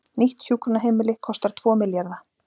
Nýtt hjúkrunarheimili kostar tvo milljarða